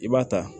I b'a ta